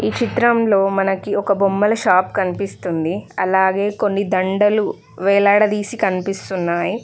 ఈ చిత్రంలో మనకి ఒక బొమ్మల షాప్ కనిపిస్తుంది అలాగే కొన్ని దండలు వేలాడదీసి కనిపిస్తున్నాయి.